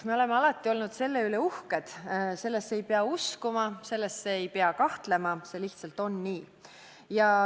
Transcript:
Me oleme alati olnud selle üle uhked, sellesse ei pea uskuma, selles ei pea kahtlema, see lihtsalt on nii.